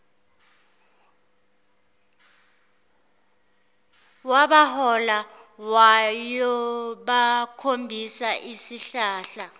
wabahola wayobakhombisa isihlahla